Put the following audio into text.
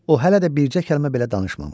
O hələ də bircə kəlmə belə danışmamışdı.